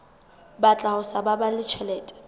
batla ho sa baballe tjhelete